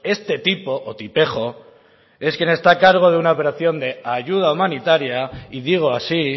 este tipo o tipejo es quien está a cargo de una operación de ayuda humanitaria y digo así